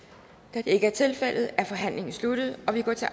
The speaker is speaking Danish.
da det ikke tilfældet er forhandlingen sluttet og vi går til